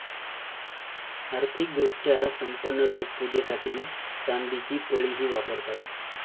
आर्थिक दृष्ट्या संपन्न लोक पूजेसाठी चांदीची पळीही वापरतात.